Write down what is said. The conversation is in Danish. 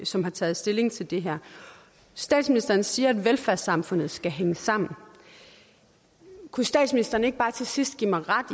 som har taget stilling til det her statsministeren siger at velfærdssamfundet skal hænge sammen kunne statsministeren ikke bare til sidst give mig ret